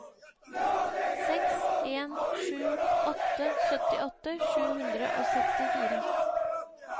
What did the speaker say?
seks en sju åtte syttiåtte sju hundre og sekstifire